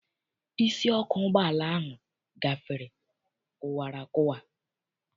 Isi ọkụ ụgbọala ahụ gafere kụwara akụwa.